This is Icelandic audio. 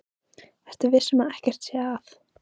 Ertu viss um að ekkert sé að?